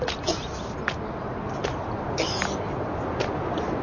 Og hvernig á hann að halda áfram að lifa?